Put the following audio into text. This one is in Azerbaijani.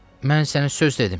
Mən sənə söz dedim.